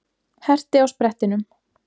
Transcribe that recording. Herti á sprettinum.